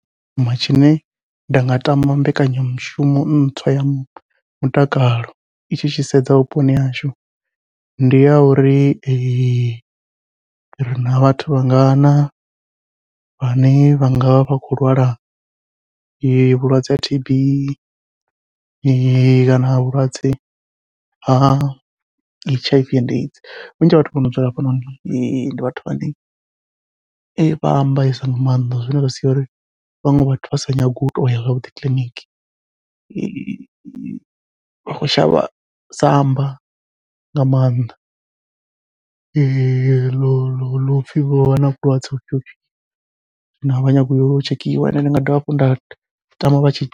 Tsho thoma tshine nda nga tama mbekanyamushumo ntswa ya mutakalo, i tshi sedza vhuponi hashu ndi ya uri rina vhathu vha ngana vhane vhanga vha vha khou lwala vhulwadze ha T_B, kana vhulwadze ha H_I_V and AIDS vhunzhi ha vhathu vhono dzula hafha noni ndi vhathu vhane vha ambesa nga maanḓa zwine zwa sia uri vhaṅwe vhathu vha sa nyagi u toya zwavhuḓi kiḽiniki. Vha khou shavha samba nga maanḓa ḽopfhi vha na vhulwadze vhufhio zwino avha nyagi uyo tshekhiwa ende ndi nga dovha hafhu nda tama vha tshi